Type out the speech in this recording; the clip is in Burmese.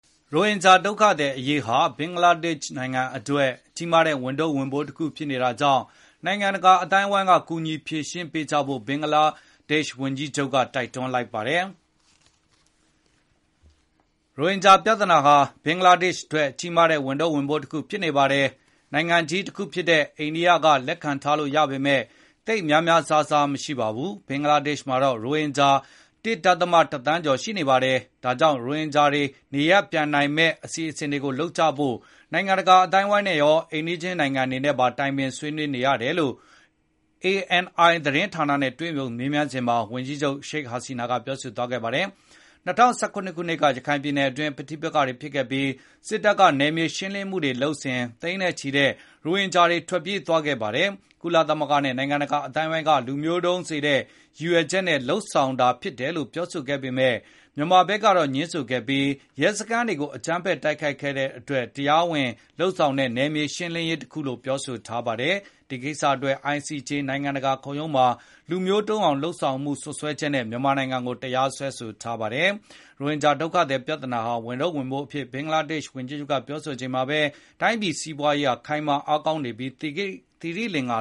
ရိုဟင်ဂျာဒုက္ခသည်အရေးဟာ ဘင်္ဂလားဒေ့ရှ်နိုင်ငံအတွက် ကြီးမားတဲ့ ဝန်ထုပ်ဝန်ပိုးတခု ဖြစ်နေတာကြောင့် နိုင်ငံတကာ အသိုင်းအဝိုင်းက ကူညီဖြေရှင်းကြဖို့ ဘင်္ဂလားဒေ့ရှ်ဝန်ကြီးချုပ် တိုက်တွန်းလိုက်ပါတယ်။ “ရိုဟင်ဂျာပြဿနာဟာ ဘင်္ဂလားဒေ့ရှ်အတွက်ကြီးမားတဲ့ဝန်ထုပ်ဝန်ပိုးတခုဖြစ်နေပါတယ်။ နိုင်ငံကြီး တခုဖြစ်တဲ့ အိန္ဒိယက လက်ခံထားလို့ ရပေမဲ့ သိပ်များများစားစား မရှိပါဘူး။ ဘင်္ဂလားဒေ့ရှ်မှာတော့ ရိုဟင်ဂျာ ၁ ဒသမ ၁ သန်းကျော်ရှိနေပါတယ်။ ဒါကြောင့် ရိုဟင်ဂျာတွေ နေရပ်ပြန်နိုင်မယ့် အစီအစဉ်တွေ လုပ်ကြဖို့ နိုင်ငံတကာအသိုင်းအဝိုင်းနဲ့ရော၊ အိမ်နီးချင်းနိုင်ငံတွေနဲ့ပါ တိုင်ပင်ဆွေးနွေး နေရတယ်။” လို့ ANI သတင်းဌာနနဲ့တွေ့ဆုံမေးမြန်းစဉ် ဝန်ကြီးချုပ် Sheikh Hasina ကပြောဆိုသွားတာပါ။ ၂၀၁၇ ခုနှစ်က ရခိုင်ပြည်နယ်အတွင်း ပဋိပက္ခတွေဖြစ်ခဲ့ပြီး စစ်တပ်က နယ်မြေရှင်းလင်းမှု လုပ်စဉ် သိန်းနဲ့ချီတဲ့ ရိုဟင်ဂျာ တွေထွက်ပြေးသွားခဲ့ပါတယ်။ ကုလသမဂ္ဂနဲ့ နိုင်ငံတကာ အသိုင်းအဝိုင်းက လူမျိုးတုန်း စေတဲ့ ရည်ရွယ်ချက်နဲ့ လုပ်ဆောင်တ ယ်လို့ ပြောဆိုခဲ့ပေမယ့်၊ မြန်မာဘက်ကတော့ငြင်းဆိုခဲ့ပြီး၊ ရဲစခန်းတွေကို အကြမ်းဖက် တိုက်ခဲ့တဲ့အတွက် တရားဝင်လုပ် ဆောင်တဲ့ နယ်မြေရှင်းလင်းမှု တခုလို့ ပြောဆိုထားပါတယ်။ ဒီကိစ္စတွက် ICJ နိုင်ငံတကာခုံရုံးမှာ လူမျိုးတုန်းအောင်လုပ် ဆောင်မှုစွဲချက်နဲ့ မြန်မာနိုင်ငံကို တရားစွဲဆိုထားပါတယ်။ ရိုဟင်ဂျာ ဒုက္ခသည်ပြဿနာဟာ ဝန်ထုပ်ဝန်ပိုးအဖြစ် ဘင်္ဂလားဒေ့ရှ် ဝန်ကြီးချုပ်က ပြောဆိုလိုက်တဲ့ တချိန်တည်းမှာပဲ တိုင်းပြည်စီးပွားရေးဟာ ခိုင်မာအားကောင်းနေပြီး သီရိလင်္ကာ